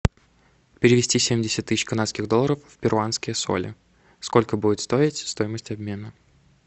перевести семьдесят тысяч канадских долларов в перуанские соли сколько будет стоить стоимость обмена